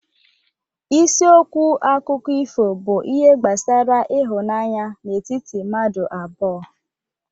Isiokwu akụkọ ifo bụ ihe gbasara ịhụnanya n'etiti mmadụ abụọ